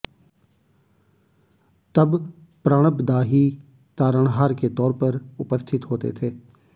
तब प्रणब दा ही तारणहार के तौर पर उपस्थित होते थे